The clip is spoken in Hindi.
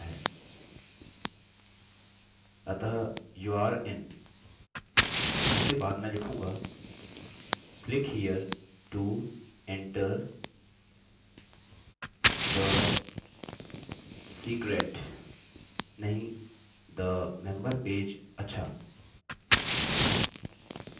अतः youre in! इसके बाद मैं लिखूँगा click here to enter the secret नहीं the member page अच्छा